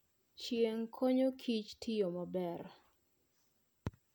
Chieng' konyo kich tiyo maber.